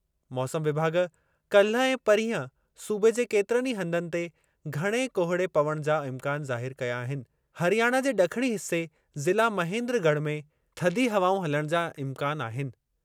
मौसम विभाॻु काल्हि ऐं परीहं सूबे जे केतिरनि ई हंधनि ते घणे कोहिड़े पवणु जा इम्कान ज़ाहिरु कया आहिनि। हरियाणा जे ड॒खणी हिसे, ज़िला महेन्द्रगढ़, में थधी हवाऊं हलणु सां इम्कान आहिनि।